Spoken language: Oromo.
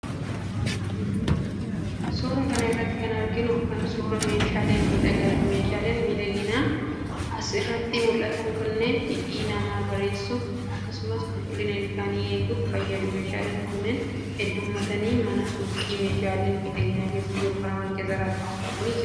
Suura kana irratti kan arginu kun, suura meeshaalee miidhaginaati. Meeshaaleen miidhaginaa as irratti mul'atan kunneen, hidhii namaa bareessuf akkasumas qulqullina ilkaanii eeguf fayyadu. Meeshaaleen kunneen hedduummatanii, mana suuqii meeshaleen miidhaginaa keessatti gurguraman keessa kaawwamanii jiru.